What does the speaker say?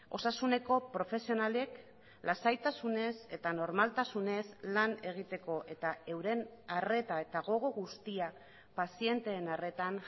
osasuneko profesionalek lasaitasunez eta normaltasunez lan egiteko eta euren arreta eta gogo guztia pazienteen arretan